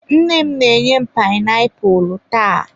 Nne m na-enye m painiapulu taa.